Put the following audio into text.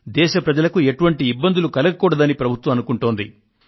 దేశ ప్రజలకు ఎటువంటి ఇబ్బందులు కలగకూడదని ప్రభుత్వం అనుకుంటోంది